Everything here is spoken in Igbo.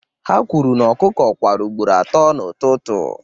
ha kwuru na ọkụkọ kwara ugboro atọ n'ụtụtụ